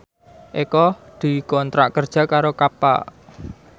Eko dikontrak kerja karo Kappa